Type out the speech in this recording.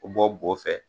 Bɔ bo fɛ